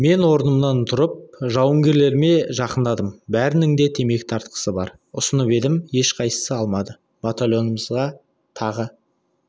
мен орнымнан тұрып жауынгерлеріме жақындадым бәрінің де темекі тартқысы бар ұсынып едім ешқайсысы алмады батальонымыз тағы